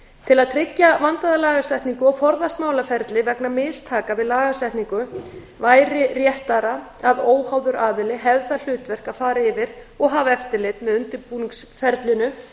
til að tryggja vandaða lagasetningu og forðast málaferli vegna mistaka við lagasetningu væri réttara að óháður aðili hefði það hlutverk að fara yfir og hafa eftirlit með undirbúningsferlinu